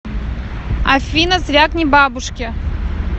афина звякни бабушке